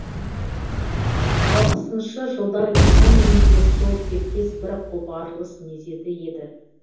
алпысыншы жылдар феномені де сол тектес бір қопарылыс мезеті еді